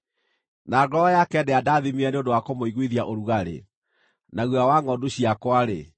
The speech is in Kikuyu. na ngoro yake ndĩandathimire nĩ ũndũ wa kũmũiguithia ũrugarĩ na guoya wa ngʼondu ciakwa-rĩ,